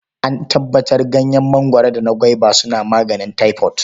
An tabbatar Ganyen mangwaro da na gwaiba suna maganin taifot.